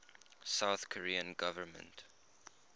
south korean government